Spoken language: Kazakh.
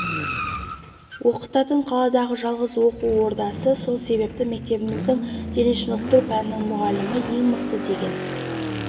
оқытатын қаладағы жалғыз оқу ордасы сол себепті мектебіміздің дене шынықтыру пәнінің мұғалімі ең мықты деген